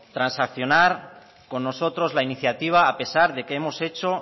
transaccionar con nosotros la iniciativa a pesar de que hemos hecho